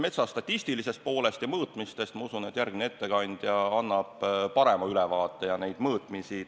Metsa statistilisest poolest ja mõõtmistest annab usutavasti parema ülevaate järgmine ettekandja.